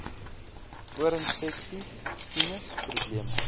oorinfeksies sinus probleme